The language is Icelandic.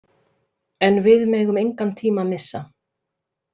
En við megum engan tíma missa.